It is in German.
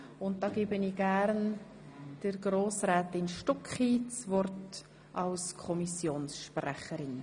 Als erstes hat Grossrätin Stucki das Wort als Kommissionssprecherin.